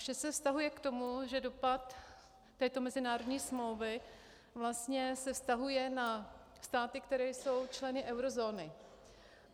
Vše se vztahuje k tomu, že dopad této mezinárodní smlouvy vlastně se vztahuje na státy, které jsou členy eurozóny.